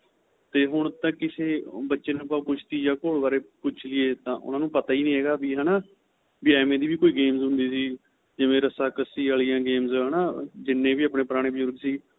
ਤੇ ਹੁਣ ਤਾਂ ਕਿਸੇ ਬੱਚੇ ਨੂੰ ਆਪਾ ਕੁਸ਼ਤੀ ਜਾਂ ਘੋੜ ਬਾਰੇ ਪੁੱਛ ਲਈਏ ਤਾਂ ਉਹਨਾ ਨੂੰ ਪਤਾ ਹੀ ਨਹੀਂ ਹੈਗਾ ਵੀ ਹੈਨਾ ਵੀ ਐਵੇ ਦੀ ਵੀ ਕੋਈ game ਹੁੰਦੀ ਸੀ ਜਿਵੇਂ ਰੱਸ਼ਾਖੱਸ਼ੀ ਆਲੀਆ games ਹੈਨਾ ਜਿੰਨੇ ਵੀ ਆਪਣੇ ਪੁਰਾਣੇ ਬਜ਼ੁਰਗ ਸੀ